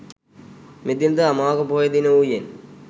මෙදින ද අමාවක පොහොය දිනය වූයෙන්